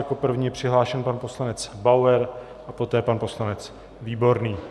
Jako první je přihlášen pan poslanec Bauer a poté pan poslanec Výborný.